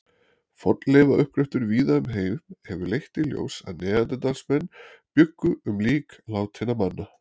Fornleifauppgröftur víða um heim hefur leitt í ljós að neanderdalsmenn bjuggu um lík látinna manna.